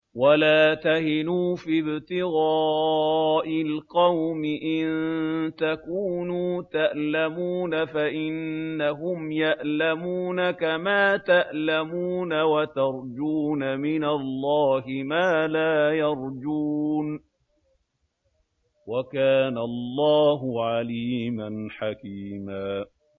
وَلَا تَهِنُوا فِي ابْتِغَاءِ الْقَوْمِ ۖ إِن تَكُونُوا تَأْلَمُونَ فَإِنَّهُمْ يَأْلَمُونَ كَمَا تَأْلَمُونَ ۖ وَتَرْجُونَ مِنَ اللَّهِ مَا لَا يَرْجُونَ ۗ وَكَانَ اللَّهُ عَلِيمًا حَكِيمًا